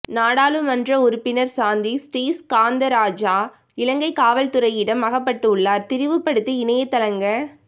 நாடாளுமன்ற உறுப்பினர் சாந்தி ஸ்ரீஸ்காந்தராசா இலங்கை காவல்துறையிடம் அகப்பட்டுள்ளார் திரிவுபடுத்தி இணையத்தளங்க